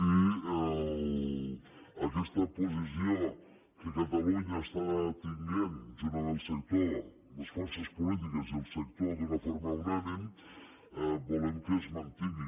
i aquesta posició que catalunya està tenint junt amb el sector les forces polítiques i el sector d’una forma unànime volem que es mantingui